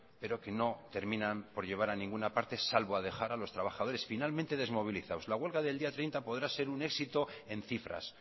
pero que no terminan por llevar a ninguna parte salvo a dejar a los trabajadores finalmente desmovilizados la huelga del día treinta podrá ser un éxito en cifras